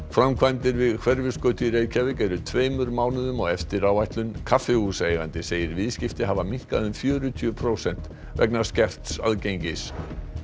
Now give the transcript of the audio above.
framkvæmdir við Hverfisgötu í Reykjavík eru tveimur mánuðum á eftir áætlun kaffihúsaeigandi segir viðskipti hafa minnkað um fjörutíu prósent vegna skerts aðgengis